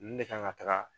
Nin de kan ka taga